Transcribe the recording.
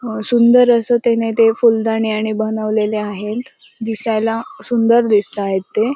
अ सुंदर अस ते न ते फुलंदाणी आणि बनवलेले आहेत दिसायला सुंदर दिसता एत ते.